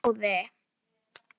Heyrðu góði!